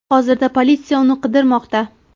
Hozirda politsiya uni qidirmoqda.